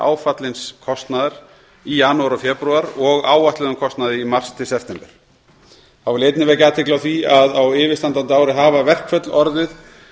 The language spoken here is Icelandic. áfallins kostnaðar í janúar og febrúar og áætluðum kostnaði mars til september þá vil ég einnig vekja athygli á því að á yfirstandandi ári hafa verkföll orðið